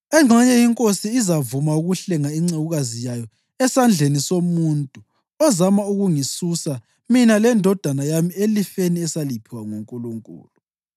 Engxenye inkosi izavuma ukuhlenga incekukazi yayo esandleni somuntu ozama ukungisusa mina lendodana yami elifeni esaliphiwa nguNkulunkulu.’